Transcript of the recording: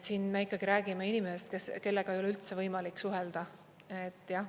Siin me ikkagi räägime inimestest, kellega ei ole üldse võimalik suhelda, et jah.